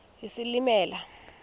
isilimela